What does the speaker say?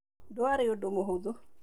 Ndũarĩ ũndũ mũhũthũ.